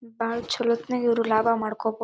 ಬಾಲ ಚಲೋ ಇವರು ಲಾಭ ಮಾಡ್ಕೊಬೋದು.